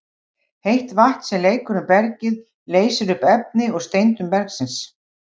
Heitt vatn sem leikur um bergið leysir upp efni úr steindum bergsins.